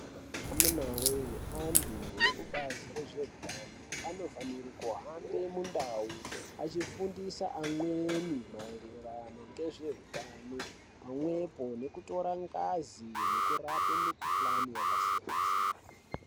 Amunawee antu ekubazi rezveutano anofanire kuhambe mundau achifundise amweni maererano ngezveutano pamwepo nekutora ngazi nekurape mukhuhlane yakasiyana-siyana.